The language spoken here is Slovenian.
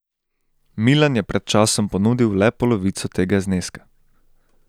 Milan je pred časom ponudil le polovico tega zneska.